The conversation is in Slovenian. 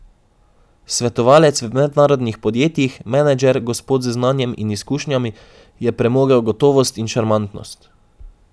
Svetovalec v mednarodnih podjetjih, menedžer, gospod z znanjem in izkušnjami, je premogel gotovost in šarmantnost.